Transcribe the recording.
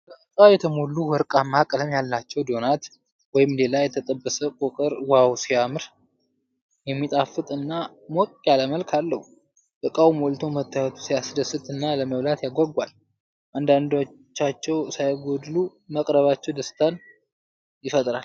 በእቃ የተሞሉ ወርቃማ ቀለም ያላቸው ዶናት ወይም ሌላ የተጠበሰ ቆቀር ዋው ሲያምር። የሚጣፍጥ እና ሞቅ ያለ መልክ አለው ። እቃውሞልቶ መታየቱ ሲያስደስት እና ለመብላት ያጓጓል። አንዳቸውም ሳይጎድሉ መቅረባቸው ደስታን ይፈጥራል።